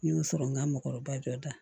N y'o sɔrɔ n ka mɔgɔkɔrɔba dɔ da